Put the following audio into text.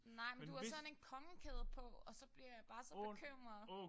Nej men du har sådan en kongekæde på og så bliver jeg bare så bekymret